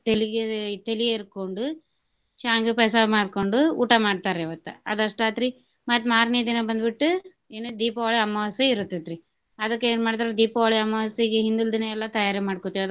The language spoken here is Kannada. ತೆಲಿಗೆ ತೆಲಿ ಎರ್ಕೊಂಡು ಶಾಂವ್ಗಿ ಪಾಯ್ಸಾ ಮಾಡ್ಕೊಂಡು ಊಟ ಮಾಡ್ತಾರಿ ಅವತ್ತ. ಆದಷ್ಟ ಆತ್ರಿ ಮತ್ತ ಮಾರ್ನೆ ದಿನ ಬಂದ ಬಿಟ್ಟು ಏನು ದೀಪಾವಳಿ ಅಮವಾಸ್ಯೆ ಇರತೆತ್ರಿ. ಅದಕ್ಕ ಏನ್ ಮಾಡ್ತಾರಿ ದೀಪಾವಳಿ ಅಮವಾಸ್ಯೆಗೆ ಹಿಂದಿಲ್ ದಿನಾ ಎಲ್ಲ ತಯಾರಿ ಮಾಡ್ಕೊತೇವ ಅದ್ಕ.